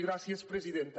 gràcies presidenta